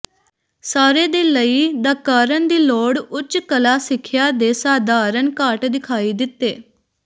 ਸਾਰੇ ਦੇ ਲਈ ਦਾ ਕਾਰਨ ਦੀ ਲੋੜ ਉੱਚ ਕਲਾ ਸਿੱਖਿਆ ਦੇ ਸਧਾਰਨ ਘਾਟ ਦਿਖਾਈ ਦਿੱਤੇ